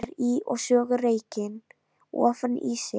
Kveikir í og sogar reykinn ofan í sig.